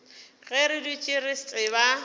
ge re dutše re tseba